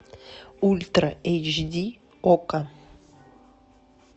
ультра эйч ди окко